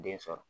Den sɔrɔ